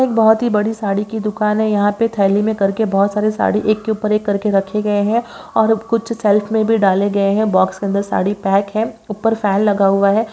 एक बहुत ही बड़ी साड़ी की दुकान है यहां पर थैली में करके बहुत सारी साड़ी एक के ऊपर एक करके रखे गए हैं कुछ सेल्फ में भी डाले गए हैं बॉक्स के अंदर साड़ी पैक है ऊपर फैन लगा हुआ है।